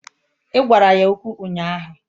Ị gwara ya okwu ụnyaahụ